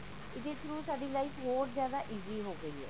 ਇਸਦੇ through ਸਾਡੀ life ਹੋਰ ਜਿਆਦਾ easy ਹੋ ਗਈ ਹੈ